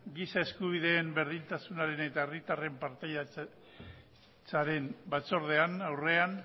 giza eskubideen berdintasunaren eta herritarren partaidetzaren